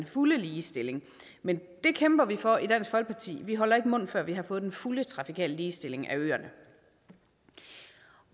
fuld ligestilling men det kæmper vi for i dansk folkeparti og vi holder ikke mund før vi har fået den fulde trafikale ligestilling af øerne